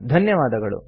ಧನ್ಯವಾದಗಳು